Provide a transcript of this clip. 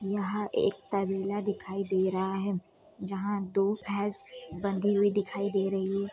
यहाँ एक तबेला दिखाई दे रहा है जहां दो भैंस बंधी हुई दिखाई दे रही हैं।